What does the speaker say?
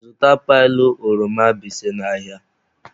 Zụta pailu oroma bise n'ahịa!